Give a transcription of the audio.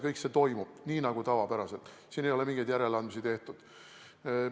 Siin ei ole mingeid järeleandmisi tehtud.